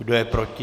Kdo je proti?